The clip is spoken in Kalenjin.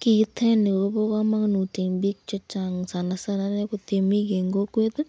Kiiteni Kobo kamanut eng bik chechang sanasana inei ii kotemik eng kokweti